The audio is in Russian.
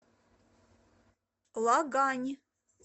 лагань